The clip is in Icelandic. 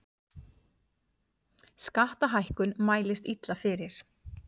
Skattahækkun mælist illa fyrir